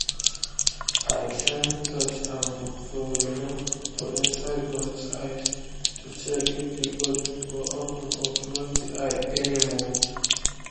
i shine torch um for um for inside goats eye to check if the goat go open or close the eye more.